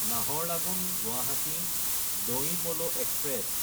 নাহাৰলাগুন–গুৱাহাটী দনই Paul express